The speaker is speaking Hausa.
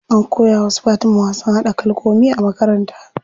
An koya wa su Fatima wasan haɗa kalkomi a makaranta.